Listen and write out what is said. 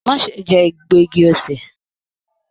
Má ṣe jẹ egbo igi osè.